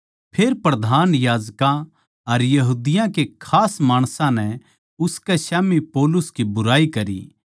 फेर प्रधान याजकां अर यहूदियाँ के खास माणसां नै उसकै स्याम्ही पौलुस की बुराई करी